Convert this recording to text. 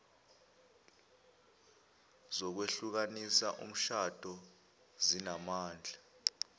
zokwehlukanisa umshado zinamandla